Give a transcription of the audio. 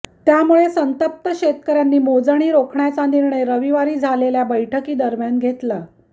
त्यामुळे संतप्त शेतकऱ्यांनी मोजणी रोखण्याचा निर्णय रविवारी झालेल्या बैठकी दरम्यान घेतला